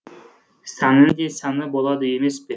сәннің де сәні болады емес пе